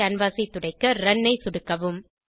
canvas ஐ துடைக்க run ஐ சொடுக்கவும்